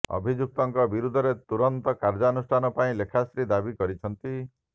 ଅଭିଯୁକ୍ତଙ୍କ ବିରୋଧରେ ତୁରନ୍ତ କାର୍ଯ୍ୟାନୁଷ୍ଠାନ ପାଇଁ ଲେଖାଶ୍ରୀ ଦାବି କରିଛନ୍ତି